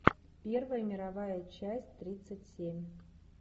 первая мировая часть тридцать семь